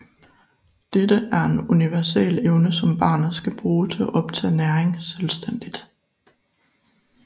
Dette er en universel evne som barnet skal bruge til at optage næring selvstændigt